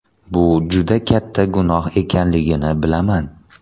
Bu juda katta gunoh ekanligini bilaman!